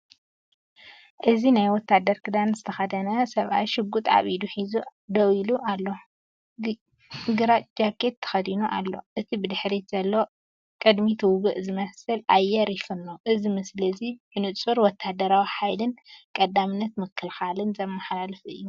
እዚ ናይ ወተሃደር ክዳን ዝተኸድነ ሰብኣይ ሽጉጥ ኣብ ኢዱ ሒዙ ደው ኢሉ ኣሎ። ግራጭ ጃኬት ተኸዲኑ ኣሎ፤ እቲ ብድሕሪት ዘሎ ቅድሚት ውግእ ዝመስል ኣየር ይፍንው። እዚ ምስሊ እዚ ብንጹር ወተሃደራዊ ሓይልን ቀዳምነት ምክልኻልን ዘመሓላልፍ እዩ።